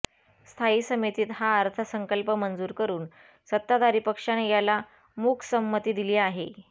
स्थायी समितीत हा अर्थसंकल्प मंजूर करून सत्ताधारी पक्षाने याला मूकसंमती दिली आहे